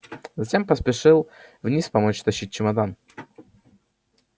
затем поспешил вниз помочь тащить чемодан